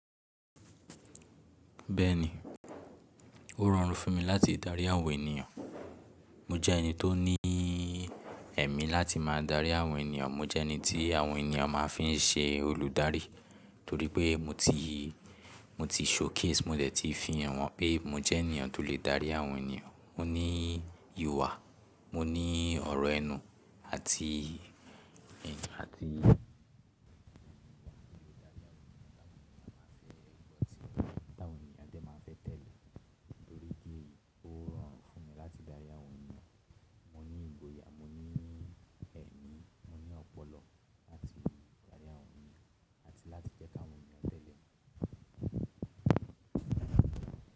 Bẹ́ẹ̀ni, ó rọrùn fún mi láti darí àwọn ènìyàn. Mo jẹ́ ẹni tó ní ẹ̀mí láti máa darí àwọn ènìyàn. Mo jẹ́ ẹni tí àwọn ènìyàn máa ń fi ṣe olùdarí torí pé mo ti, mo ti showcase, mo dẹ̀ ti fihàn wọ́n pé mo jẹ́ ènìyàn tó lè dárí àwọn ènìyàn. Mo ní ìhùwà, mo ní ọ̀rọ̀ ẹnu àti, àti ìgboyà tí lè darí àwọn ènìyàn. Àwọn ènìyàn máa ń fẹ́ gbọ́ ti ọ̀rọ̀, àwọn ènìyàn jẹ́ máa ń fẹ́ tẹ̀lé torí pé ó rọrùn fún mi láti darí àwọn ènìyàn. Mo ní ìgboyà, mo ní ẹ̀mí, mo ní ọpọlọ láti darí àwọn ènìyàn àti láti jẹ́ kí àwọn ènìyàn tẹ̀lé mi.